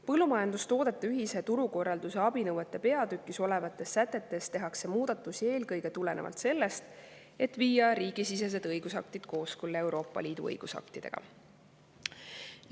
Põllumajandustoodete ühise turukorralduse abinõude peatükis olevates sätetes tehakse muudatusi eelkõige tulenevalt sellest, et viia riigisisesed õigusaktid kooskõlla Euroopa Liidu õigusaktidega.